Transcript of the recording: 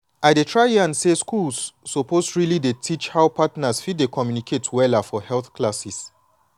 i dey try yan say schools suppose really dey teach how partners fit dey communicate wella for health classes.